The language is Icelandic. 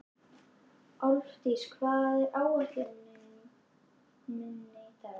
Álfdís, hvað er á áætluninni minni í dag?